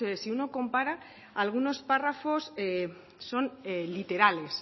si uno compara algunos párrafos son literales